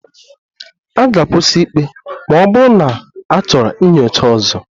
A ga-akwụsị ikpe ma ọ bụrụ na achọrọ nyocha ọzọ